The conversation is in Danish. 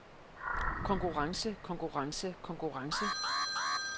konkurrence konkurrence konkurrence